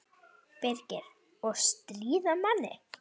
Birgir: Og stríða manni.